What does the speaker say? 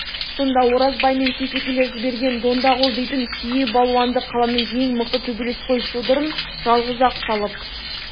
сонда оразбай мен сейсекелер жіберген дондағұл дейтін түйе балуанды қаланың ең мықты төбелесқой содырын жалғыз-ақ салып